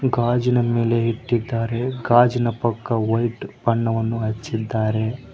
ಗಾಜಿನ ಮೇಲೆ ಇಟ್ಟಿದ್ದಾರೆ ಗಾಜಿನ ಪಕ್ಕ ವೈಟ್ ಬಣ್ಣವನ್ನು ಹಚ್ಚಿದ್ದಾರೆ.